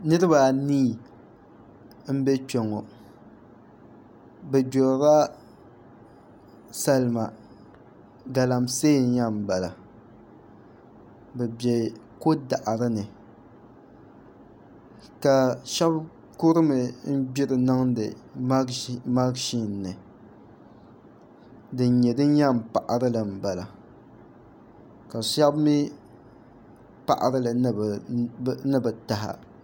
Niraba anii n bɛ kpɛ ŋo bi gbirila salima galamsee n yɛn bala bi bɛ ko daɣari ni ka shab kurimi n gbiri niŋdi mashin ni din nyɛ din yɛn paɣarili n bala ka shab mii paɣarili ni bi taha